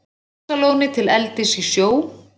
Laxalóni til eldis í sjó.